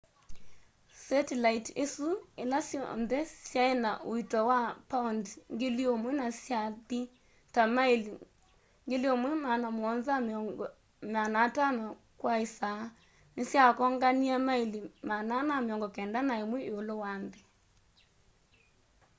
setilaiti isu ĩla syonthe syaĩna ũĩto wa paondĩ 1,000 na syathi ta maili 17,500 kwa ĩsaa nĩsyakonganie maili 491 ĩũlũ wa nthĩ